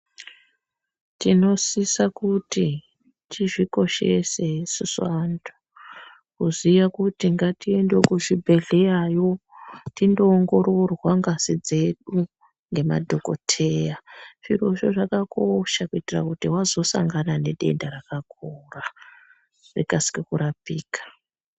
Tinosisa kuti tizvikoshese isusu vantu. Kuziva kuti ngatiende kuzvibhedhleyayo tindoongororwa ngazi dzedu ngemadhokodheya. Zvirozvo zvakakosha kuitira kuti wazosangana nedenda rakakura rikasike kurapika.